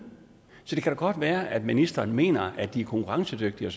det kan da godt være at ministeren mener at de er konkurrencedygtige